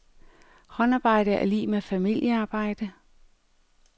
Håndarbejde er lig med familiearbejde.